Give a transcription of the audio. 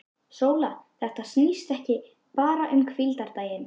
SÓLA: Þetta snýst ekki bara um hvíldardaginn.